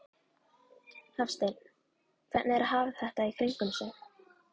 Hafsteinn: Hvernig er að hafa þetta í kringum sig?